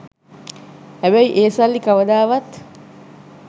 හැබැයි ඒ සල්ලි කවදාවත්